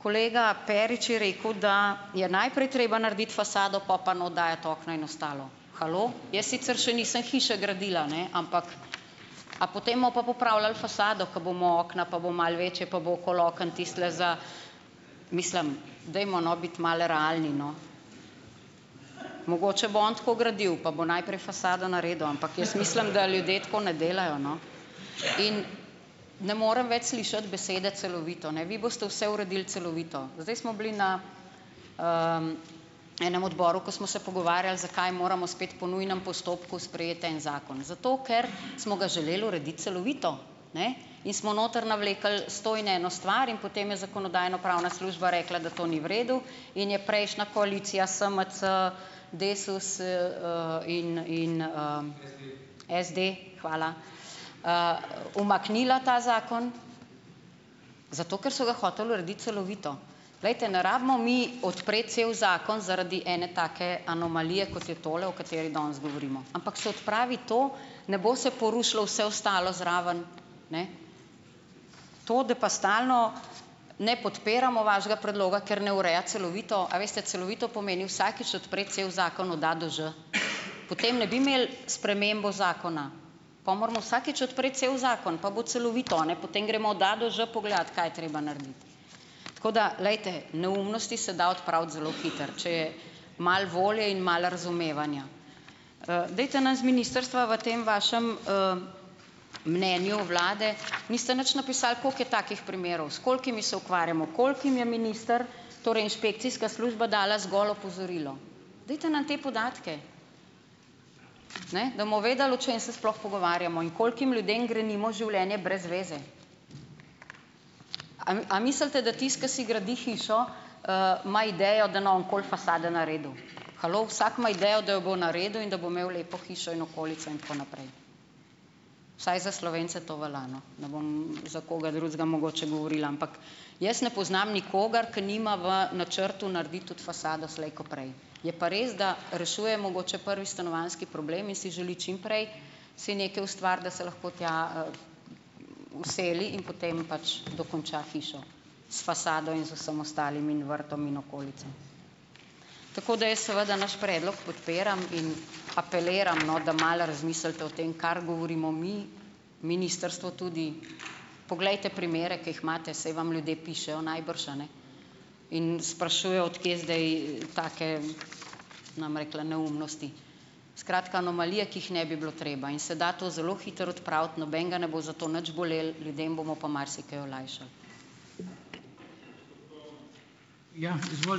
Kolega Perič je rekel, da je najprej treba narediti fasado pol pa not dati okna in ostalo. Halo! Jaz sicer še nisem hiše gradila, ne, ampak a potem bomo pa popravljali fasado, ko bomo okna, pa bo malo večje pa bo okoli okno tistole za ... Mislim, dajmo, no, biti malo realni, no. Mogoče bo on tako gradil, pa bo najprej fasado naredil, ampak jaz mislim, da ljudje tako ne delajo, no. In ne morem več slišati besede "celovito", ne. Vi boste vse uredili celovito. Zdaj smo bili na enem odboru, ko smo se pogovarjali, zakaj moramo spet po nujnem postopku sprejeti en zakon. Zato, ker smo ga želel urediti celovito. Ne. In smo noter navlekli sto in eno stvar in potem je zakonodajno-pravna služba rekla, da to ni v redu, in je prejšnja koalicija SMC, Desus, in in, SD, hvala, umaknila ta zakon, zato ker so ga hoteli urediti celovito. Glejte, ne rabimo mi odpreti cel zakon zaradi ene take anomalije, kot je tole, o kateri danes govorimo, ampak se odpravi to, ne bo se porušilo vse ostalo zraven. Ne. To, da pa stalno ne podpiramo vašega predloga, ker ne ureja celovito. A veste, celovito pomeni vsakič odpreti cel zakon od A do Ž. Potem ne bi imeli spremembo zakona. Po moramo vsakič odpreti cel zakon, pa bo celovito, a ne, potem gremo od A do Ž pogledat, kaj je treba narediti. Tako da glejte, neumnosti se da odpraviti zelo hitro, če je malo volje in malo razumevanja. Dajte nas z ministrstva v tem vašem, mnenju vlade niste nič napisali, koliko je takih primerov, s kolikimi se ukvarjamo, kolikim je minister, torej inšpekcijska služba dala zgolj opozorilo. Dajte nam te podatke, ne, da bomo vedeli, o čem se sploh pogovarjamo in kolikim ljudem grenimo življenje brez veze. A a mislite, da tisto, ko si gradi hišo, ima idejo, da ne bo nikoli fasade naredil? Halo? Vsak ima idejo, da jo bo naredil in da bo imel lepo hišo in okolico in tako naprej, vsaj za Slovence to velja, no. Ne bom za koga drugega mogoče govorila, ampak jaz ne poznam nikogar, ke nima v načrtu narediti tudi fasado slej ko prej. Je pa res, da rešuje mogoče prvi stanovanjski problem in si želi čim prej si nekaj ustvariti, da se lahko tja, vseli in potem pač dokonča hišo s fasado in z vsem ostalim in vrtom in okolico. Tako da jaz seveda naš predlog podpiram in apeliram, no, da malo razmislite o tem, kar govorimo mi, ministrstvo tudi, poglejte primere, ker jih imate, saj vam ljudje pišejo najbrž, a ne, in sprašujejo, od kje zdaj, take, ne bom rekla neumnosti, skratka anomalije, ki jih ne bi bilo treba, in se da to zelo hitro odpraviti, nobenega ne bo za to nič bolelo, ljudem bomo pa marsikaj olajšali.